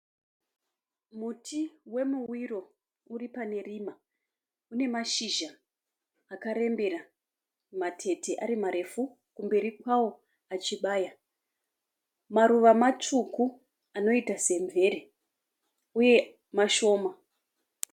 Muti wemuwiro uripane rima. Une mashizha akarembera, matete arimarefu, kumberi kwawo achibaya. Maruva matsvuku anoita sebvere uye mashoma.